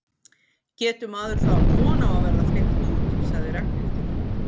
Getur maður þá átt von á að verða fleygt út? sagði Ragnhildur.